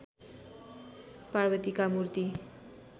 पार्वतीका मूर्ति